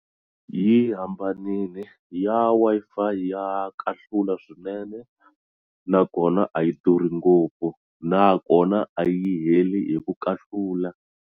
Yi hambanile ya Wi-Fi ya kahlula swinene nakona a yi durhi ngopfu nakona a yi heli hi ku kahlula.